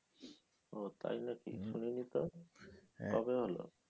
ও তাই না কী শুনিনি তো, কবে হলো?